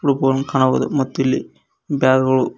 ಕಾಣಬಹುದು ಮತ್ತು ಇಲ್ಲಿ ಬ್ಯಾಗ್ ಗಳು--